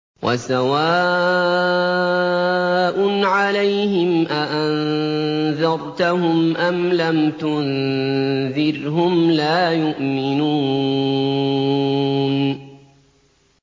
وَسَوَاءٌ عَلَيْهِمْ أَأَنذَرْتَهُمْ أَمْ لَمْ تُنذِرْهُمْ لَا يُؤْمِنُونَ